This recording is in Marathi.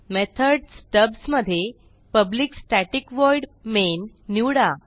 मेथड स्टब्स मधे पब्लिक स्टॅटिक व्हॉइड मेन निवडा